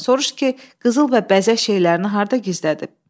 Sorurş ki, qızıl və bəzək şeylərini harda gizlədib?